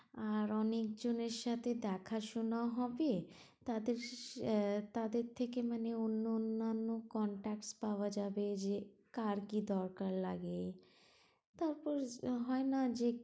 আর অনেক জনের সাথে দেখা শোনাও হবে, তাদের আহ তাদের থেকে মানে অন্য অন্যান্য contacts পাওয়া যাবে যে কার কি দরকার লাগে suppose হয় না যে